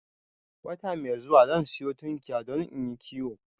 Wata mai zuwa zan sanyo tunkiya don inyi kiwo